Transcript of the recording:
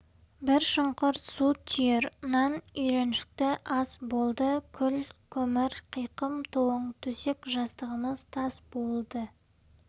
бір шұңқыр су түйір нан үйреншікті ас болды күл көмір қиқым тоң төсек жастығымыз тас болды